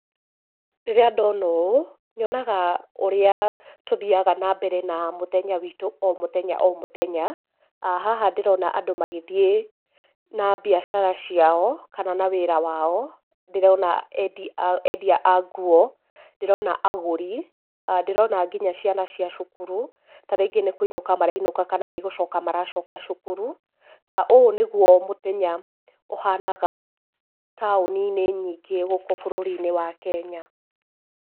Rĩrĩa ndona ũũ nyonaga ũrĩa tũthiaga na mbere na mũthenya wĩtũ o mũthenya o mũthenya, haha ndĩrona andũ magĩthiĩ na biacara ciao kana na wĩra wao, ndĩrona endia a nguo, ndĩrona agũri, ndĩrona nginya ciana cia cukuru, tarĩngĩ nĩ kũinũka marainũka kana nĩ gũcoka maracoka cukuru. Ũũ nĩ guo mũthenya ũhanaga taũni-inĩ nyingĩ gũkũ bũrũri-inĩ wa Kenya.